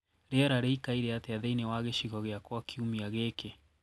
rĩera rĩĩkaĩre atĩa thĩĩni wa gicigo giakwa kĩumĩa giki